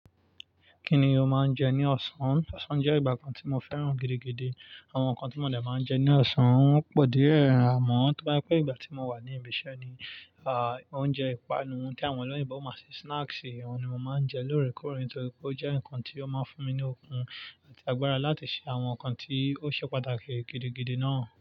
Kí ni o máa ń jẹ ní ọ̀sán? Òsán jẹ́ ìgbà kan tí mo fẹ́ràn gidigidi. Àwọn nǹkan tí mo dà máa ń jẹ ní ọ̀sán wọ́n pọ̀ díẹ̀, amọ́, tó bá je wí pé ìgbà tí mo wà ní ibi iṣẹ́ ni, oúnjẹ ìpanu tí àwọn olóyèbọ máa ń ṣe snacks, ìwọ̀n ni mo máa ń jẹ lóòrèkóòrè nítorí pé ó jẹ́ nǹkan tí ó máa ń fún mi ní okun àti agbára láti ṣe àwọn nǹkan tí ó ṣe pàtàkì gidigidi náà.